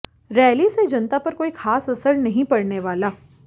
rally से जनता पर कोई खास असर नहीं पड़ने वाला